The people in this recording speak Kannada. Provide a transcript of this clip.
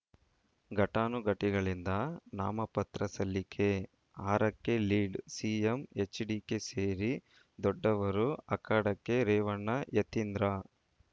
ಘಟಾನುಘಟಿಗಳಿಂದ ನಾಮಪತ್ರ ಸಲ್ಲಿಕೆ ಆರಕ್ಕೆ ಲೀಡ್‌ ಸಿಎಂ ಎಚ್‌ಡಿಕೆ ಸೇರಿ ದೊಡ್ಡವರು ಅಖಾಡಕ್ಕೆ ರೇವಣ್ಣ ಯತೀಂದ್ರ